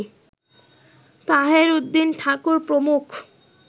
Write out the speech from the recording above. তাহের উদ্দিন ঠাকুর প্রমুখ